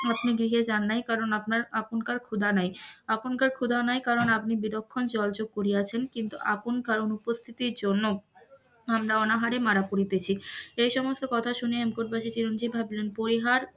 আপনি গৃহে যান নাই কারণ আপনকার ক্ষুধা নাই, আপনাকয়ার ক্ষুধা নাই করান আপনি বিলক্ষণ জলযোগ করিয়াছেন কিন্তু আপনকার অনুপস্থিতির জন্য আমরা অনাহারে মারা পড়িতেছি এই সব কথা শুনিয়া হেমকূটবাসী চিরঞ্জিব ভাবলেন পরিহার,